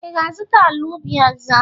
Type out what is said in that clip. Ị ga-azụta ala ubi ọzọ?